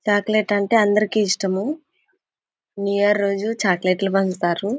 Chocolate అంటే ఆంధ్రాకి ఇష్టము న్యూ ఇయర్ రోజుకూ చాక్లెట్లు పంచుతారు.